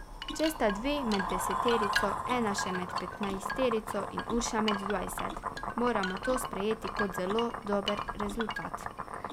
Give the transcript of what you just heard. Če sta dve med deseterico, ena še med petnajsterico in Urša med dvajset, moramo to sprejeti kot zelo dober rezultat.